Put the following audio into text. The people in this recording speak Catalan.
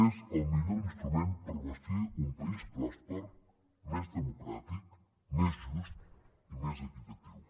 és el millor instrument per bastir un país pròsper més democràtic més just i més equitatiu